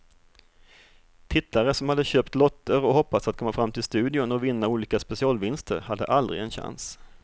Tittare som hade köpt lotter och hoppats att komma fram till studion och vinna olika specialvinster hade aldrig en chans.